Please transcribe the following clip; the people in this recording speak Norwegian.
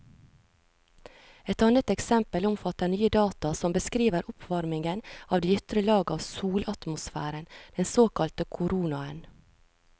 Et annet eksempel omfatter nye data som beskriver oppvarmingen av de ytre lag av solatmosfæren, den såkalte koronaen.